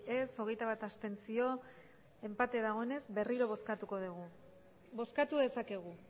ez hogeita bat abstentzio enpate dagonez berriro bozkatuko dugu bozkatu dezakegu